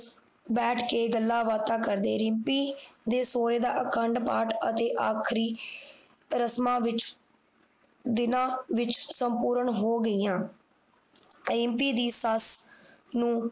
ਬੈਠ ਕੇ ਗੱਲਾਂ ਬਾਤਾਂ ਕਰਦੇ ਰਿਮਪੀ ਦੇ ਸੋਹਰੇ ਦਾ ਅਖੰਡ ਪਾਠ ਅਤੇ ਆਖਰੀ ਰਸਮਾਂ ਵਿਚ ਦਿਨਾਂ ਵਿਚ ਸੰਪੂਰਨ ਹੋ ਗਈਆਂ ਰਿਮਪੀ ਦੀ ਸੱਸ ਨੂੰ